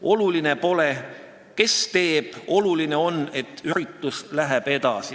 Oluline pole, kes teeb, oluline on, et üritus läheb edasi.